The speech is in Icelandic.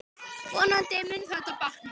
Vonandi mun þetta batna.